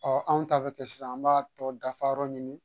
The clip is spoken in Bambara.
Ɔ anw ta bɛ kɛ sisan an b'a tɔ dafa yɔrɔ ɲini